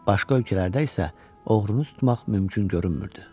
Başqa ölkələrdə isə oğrunu tutmaq mümkün görünmürdü.